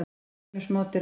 Heimur smádýranna.